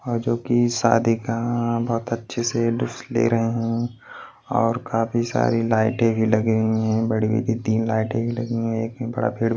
जो कि शादी का अ बहुत अच्छे से ले रहे हैं और काफी सारी लाइटें भी लगे हुए हैं बड़ी बड़ी तीन लाइट भी लगी हैं एक में बड़ा पेड़ --